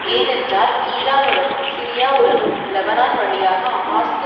ஏனென்றால் ஈரானுடனும் சிரியாவுடனும் லெபனான் வழியாக ஹமாஸ்க்கு